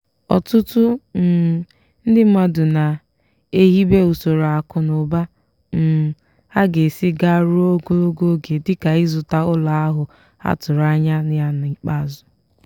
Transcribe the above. ọtụtụ um ndị mmadụ na-ehibe usoro akụ na ụba um ha ga esi gaa ruo ogologo oge dịka ịzụta ụlọ ahụ ha tụrụ anya ya n'ikpeazụ.